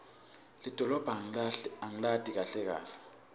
lidolobha angilati kahle kahle